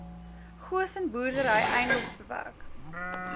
goosen boerdery edms